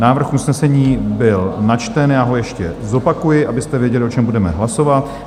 Návrh usnesení byl načten, já ho ještě zopakuji, abyste věděli, o čem budeme hlasovat.